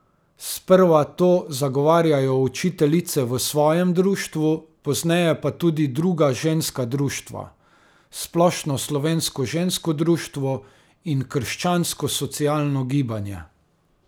Sprva to zagovarjajo učiteljice v svojem društvu, pozneje pa tudi druga ženska društva, Splošno slovensko žensko društvo in krščanskosocialno gibanje.